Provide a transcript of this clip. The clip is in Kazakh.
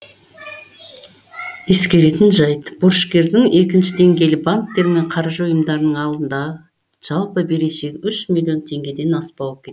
ескеретін жайт борышкердің екінші деңгейлі банктер мен қаржы ұйымдарының алдындағы жалпы берешегі үш миллион теңгеден аспауы тиіс